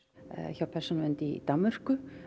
hjá Persónuvernd í Danmörku